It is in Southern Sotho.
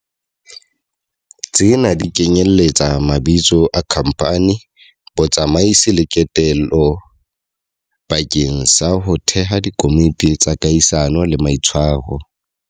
Tsena di kenyeletsa mabitso a khamphani, botsamaisi le kotelo bakeng sa ho theha dikomiti tsa kahisano le maitshwaro.